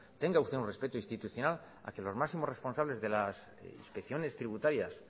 tenga usted un respeto institucional hacia los máximos responsables de las inspecciones tributarias